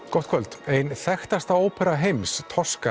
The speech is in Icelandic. gott kvöld ein þekktasta ópera heims